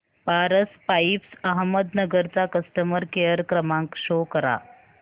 Paras pipes Ahmednagar चा customer care क्रमांक show करा